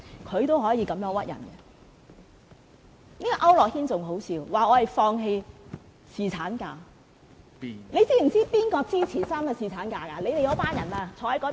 區諾軒議員更可笑，說我們放棄侍產假，你知道誰支持3天侍產假嗎？